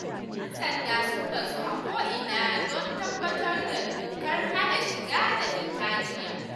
Yan sandan sun bazu a ko'ina don tabbatar da dokar hana shiga da fita jiya